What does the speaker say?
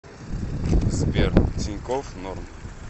сбер тинькофф норм